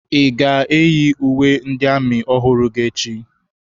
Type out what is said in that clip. Ị ga-eyi uwe ndị amị ọhụrụ gị echi?